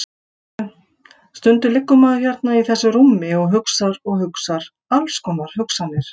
Veistu. stundum liggur maður hérna í þessu rúmi og hugsar og hugsar alls konar hugsanir.